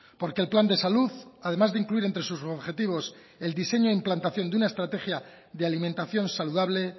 porque el plan de salud además de incluir entre sus objetivos el diseño e implantación de una estrategia de alimentación saludable